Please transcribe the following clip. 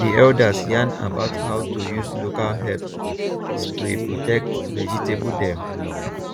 di elders yarn about how to use local herb spray protect vegetable dem